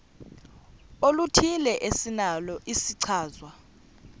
oluthile esinalo isichazwa